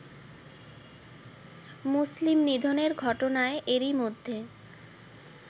মুসলিম নিধনের ঘটনায় এরই মধ্যে